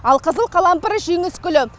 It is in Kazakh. алқызыл қалампыр жеңіс гүлі